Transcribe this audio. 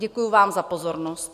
Děkuji vám za pozornost.